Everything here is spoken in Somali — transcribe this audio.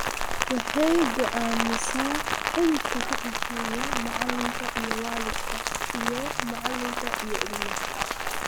Waxay go'aamisaa xidhiidhka ka dhexeeya macalinka -iyo-waalidka iyo macalinka -iyo-ilmaha.